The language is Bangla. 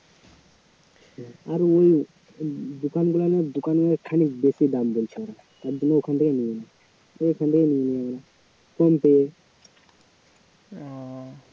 আর ওই দোকান~ দোকানে খানিক দাম বলছে ওরা তারজন্য ওখান থেকে নিয়ে নিই ওই ওখান থেকে নিয়ে নিই কম পড়ে